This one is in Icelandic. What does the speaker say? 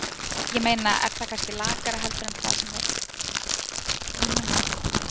Ég meina er það kannski lakara heldur en það sem það er í núna?